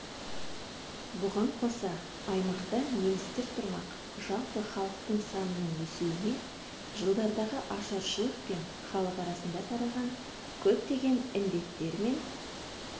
бұған қоса аймақта немістер тұрмақ жалпы халықтың санының өсуіне жылдардағы ашаршылық пен халық арасында таралған көптеген індеттер мен